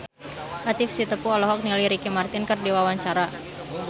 Latief Sitepu olohok ningali Ricky Martin keur diwawancara